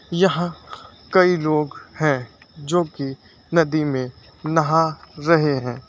यहां कई लोग हैं जो की नदी में नहा रहे हैं।